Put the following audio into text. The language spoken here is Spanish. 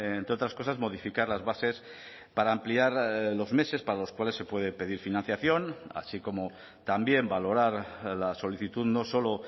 entre otras cosas modificar las bases para ampliar los meses para los cuales se puede pedir financiación así como también valorar la solicitud no solo